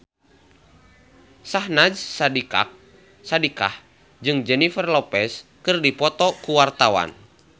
Syahnaz Sadiqah jeung Jennifer Lopez keur dipoto ku wartawan